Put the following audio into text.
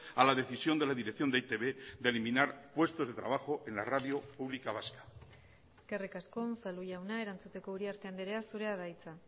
a la decisión de la dirección de e i te be de eliminar puestos de trabajo en la radio pública vasca eskerrik asko unzalu jauna erantzuteko uriarte andrea zurea da hitza